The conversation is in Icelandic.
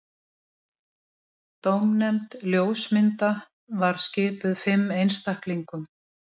Dómnefnd ljósmynda var skipuð fimm einstaklingum